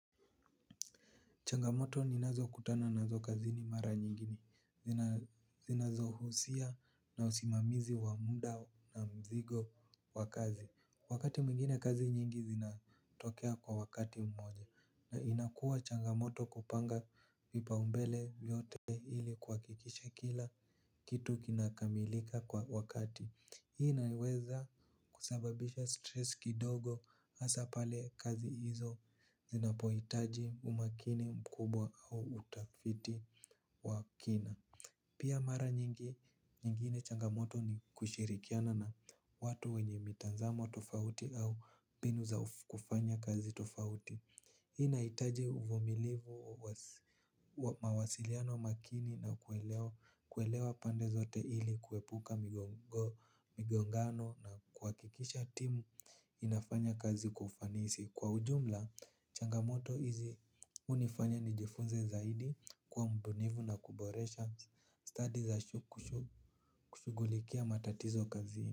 Changamoto ninazo kutana nazo kazini mara nyingi ni. Zinazohusia na usimamizi wa muda na mzigo wa kazi. Wakati muingine kazi nyingi zinatokea kwa wakati mmoja. Na inakua changamoto kupanga vipa umbele vyote ili kwakikisha kila kitu kinakamilika kwa wakati. Hii naweza kusababisha stress kidogo asa pale kazi hizo zinapoitaji umakini mkubwa au utafiti wa kina. Pia mara nyingine changamoto ni kushirikiana na watu wenye mitanzamo tofauti au mbinu za kufanya kazi tofauti. Hii inaitaji uvumilivu mawasiliano makini na kuelewa pande zote hili kuepuka migongano na kuakikisha timu inafanya kazi kwa ufanisi. Kwa ujumla, changamoto hizi unifanya nijifunze zaidi kuwa mbunifu na kuboresha study za kushugulikia matatizo kazi.